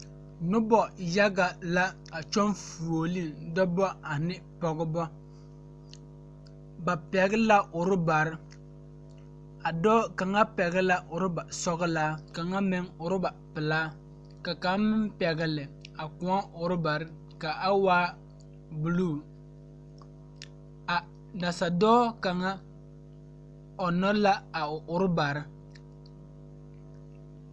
Noba yaɡa la a kyɔɡe fuoliŋ dɔbɔ ane pɔɡebɔ ba pɛɡele la urɔbare a dɔɔ kaŋ pɛɡele la urɔbasɔɡelaa kaŋa meŋ urɔba pelaa ka kaŋ meŋ pɛɡele a kõɔ urɔbare ka a waa buluu a nasadɔɔ kaŋa ɔnɔ la a o urɔba.